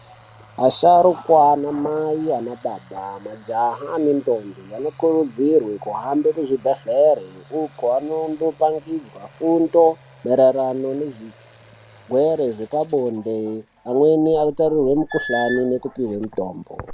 Asharukwa anamai anababa majaha anendombi anokurudzirwe kuhamba muzvibhehlere ikoko vanondo pangidzwa fundo mairirano nezvirwere zvepa bonde amwene aitarirwe mukuhlani nekupiwa mutombo.